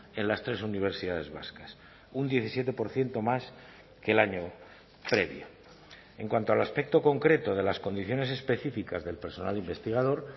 en las tres universidades vascas un diecisiete por ciento más que el año previo en cuanto al aspecto concreto de las condiciones específicas del personal investigador